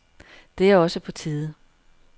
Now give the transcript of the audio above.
Det er også på tide.